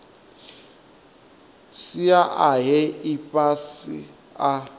sia a he ifhasi a